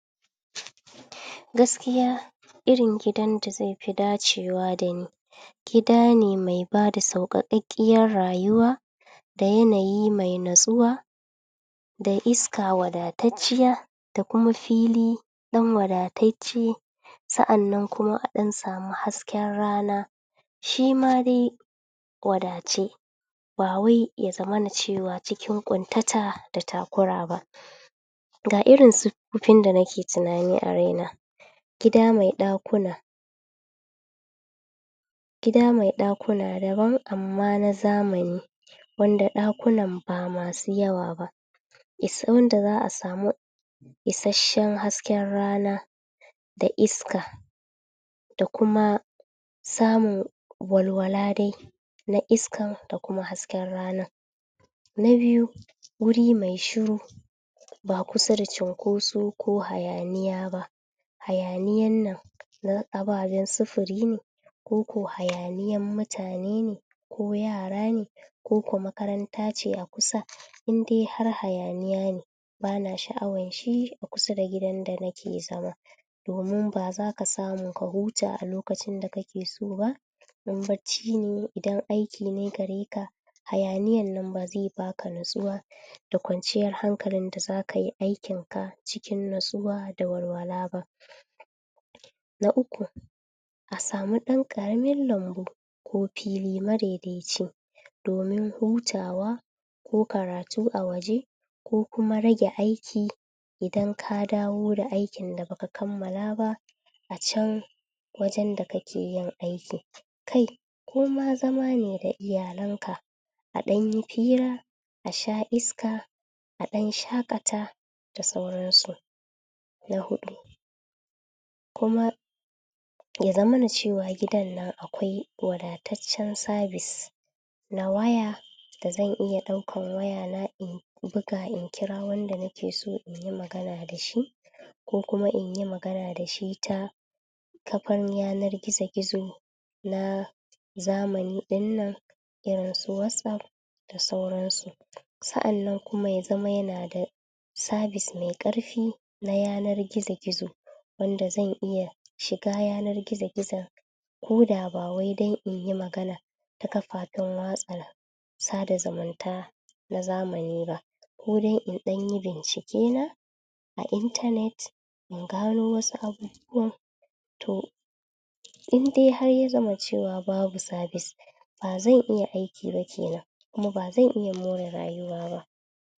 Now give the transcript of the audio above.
Gaskiya irin gidan da zai fi dacewa da ni gida ne mai ba da sauƙaƙaƙƙiyar rayuwa da yanayi mai natsuwa da iska wadatacciya da kuma fili ɗan wadatacce Sa'annan kuma a ɗan samu hasken rana, shi ma dai wadatacce, ba wai ya zamana cewa cikin ƙuntata da takura ba. Ga irin siffofin da nake tunani a raina: gida mai ɗakuna Gida mai ɗakuna daban amma na zamani, wanda ɗakunan ba masu yawa ba, wanda za a samu isasshen hasken rana da iska da kuma samun walawala dai na iskan da kuma hasken ranan. Na biyu, wuri mai shiru--ba kusa da cunkoso ko hayaniya ba, hayaniyan nan na ababen sufuri ne ko ko hayaniyan mutane ne ko yara ne ko ko makaranta ce a kusa, in dai har hayaniya ne ba na sha'awan shi kusa da gidan da nake zama domin ba za ka samu ka huta a lokacin da kake so ba idan bacci ne, idan aiki ne gare ka, hayaniyan nan ba zai ba ka natsuwa da kwanciyar hankalin da za ka yi aikinka cikin natsuwa da walwala ba. Na uku, a samu ɗan ƙaramin lambu ko fili madaidaici domin hutawa ko karatu a waje ko kuma rage aiki idan ka dawo da aikin da ba ka kammala ba a can wajen da kake yin aikin. Kai! Ko ma zama ne da iyalanka a ɗan yi fira, a sha iska, a ɗan shaƙata da sauransu. Na huɗu, kuma ya zamana cewa gidan nan akwai wadataccen sabis na waya da zan iya ɗaukan waya in buga in kira wanda nake so in yi magana da shi ko kuma in yi magana da shi ta kafan yanar gizo-gizo na zamani ɗin nan, irin su Wasof da sauransu. Sa'annan kuma ya zama yana da sabis mai ƙarfi na yanar gizo-gizo wanda zan iya shiga yanar gizo-gizon ko da ba wai don in yi magana ta kafafen watsa sada zumunta na zamani ba, ko don in ɗan yi bincikena a intanet in gano wasu abubuwan. To, in dai ya zama cewa babu sabis, ba zan iya aiki ba ke nan kuma ba zan iya more rayuwa ba.